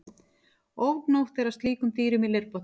Ofgnótt er af slíkum dýrum í leirbotni.